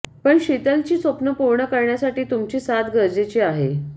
पण शीतलची स्वप्न पूर्ण करण्यासाठी तुमची साथ गरजेची आहे